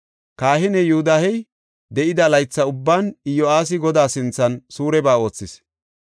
Kahiney Yoodahey de7ida laytha ubban Iyo7aasi Godaa sinthan suureba oothis.